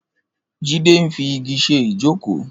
Jide n fi igi ṣé ijókó